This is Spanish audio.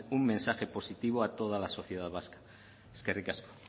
un mensaje positivo a toda la oposición vasca eskerrik asko